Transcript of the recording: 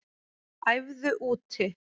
Æfðu úti